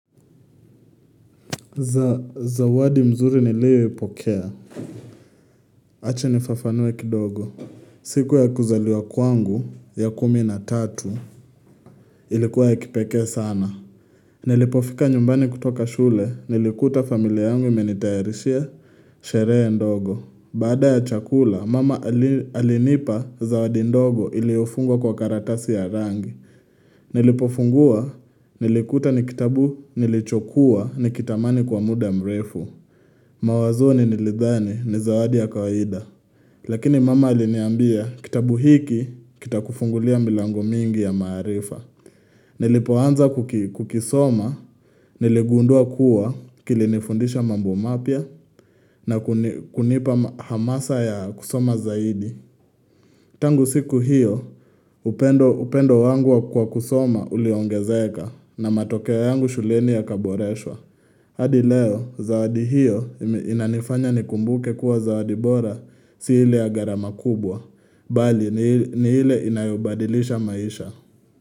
Za wadi mzuri nileo ipokea. Ache nifafanue kidogo. Siku ya kuzaliwa kwangu ya kumi na tatu. Ilikuwa ya kipekee sana. Nilipofika nyumbani kutoka shule. Nilikuta familia yangu menitayarishia sheree ndogo. Baada ya chakula, mama alinipa zawadi ndogo iliofungwa kwa karatasi ya rangi. Nilipofungua, nilikuta ni kitabu nilichokua ni kitamani kwa muda mrefu. Mawazoni nilidhani ni zawadi ya kawaida Lakini mama aliniambia kitabu hiki kitakufungulia milango mingi ya maarifa Nilipoanza kukisoma niligundua kuwa kilinifundisha mambo mapya na kunipa hamasa ya kusoma zaidi Tangu siku hiyo upendo wangu wa kukua kusoma uliongezeka na matokeo yangu shuleni ya kaboreswa hadi leo, zawadi hiyo inanifanya nikumbuke kuwa zawadi bora si ile gharama kubwa. Bali, ni hile inayobadilisha maisha.